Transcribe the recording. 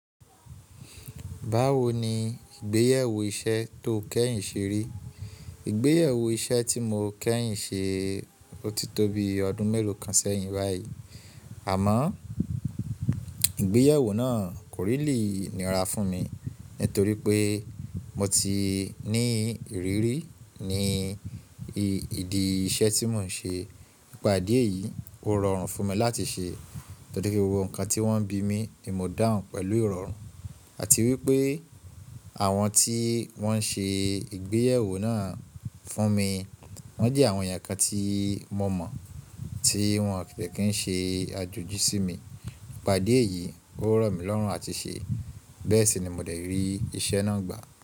Báwo ni ìgbéyàwó iṣẹ́ tó kẹ́hìn ṣe rí? Ìgbéyàwó iṣẹ́ tí mo kẹ́hìn ṣe, ó ti tó bi ọdún mélòó kan sẹ́yìn báyìí. Àmọ́ ìgbéyàwó náà kò really nìíra fún mi nítorí pé mo ti ní ìrírí ní ìdí iṣẹ́ tí mò ń ṣe. Ìpàdé yìí ó rọrùn fún mi láti ṣe torí pé gbogbo nǹkan tí wọ́n bí mi ni mo dà hùn pẹ̀lú ìrọ̀rùn àti wípé àwọn tí wón ń ṣe ìgbéyàwó náà fún mi, wón jẹ́ àwọn ìyàkà tí mo mọ̀ tí wón kì í ṣe àjòjì sí mi. Ìpàdé yìí ó rọ̀ mí lọ́rùn àti ṣe. Bẹ́ẹ̀ sì ni mo dé rí iṣẹ́ náà gbà.